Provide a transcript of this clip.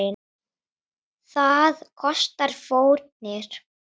Það kostar fórnir.